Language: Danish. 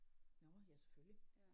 Nåh ja selvfølgelig